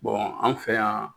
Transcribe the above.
an fɛ yan